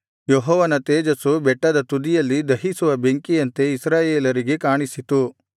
ಯೆಹೋವನ ತೇಜಸ್ಸು ಬೆಟ್ಟದ ತುದಿಯಲ್ಲಿ ದಹಿಸುವ ಬೆಂಕಿಯಂತೆ ಇಸ್ರಾಯೇಲರಿಗೆ ಕಾಣಿಸಿತು